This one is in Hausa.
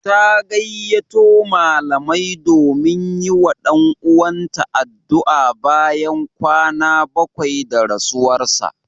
Ta gayyato malamai domin yi wa ɗan uwanta addu'a bayan kwana bakwai da rasuwarsa.